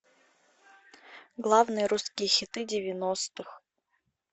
главные русские хиты девяностых